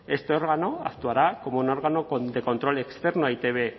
este órgano actuará como un órgano de control externo a e i te be